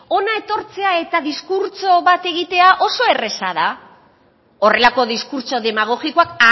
hona etortzea eta diskurtso bat egitea oso erreza da horrelako diskurtso demagogikoak